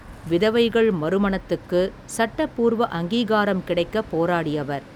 விதவைகள் மறுமணத்துக்கு, சட்டபூர்வ அங்கீகாரம் கிடைக்க போராடியவர்.